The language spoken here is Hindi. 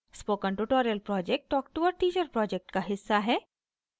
spoken tutorial project talk to a teacher project का हिस्सा है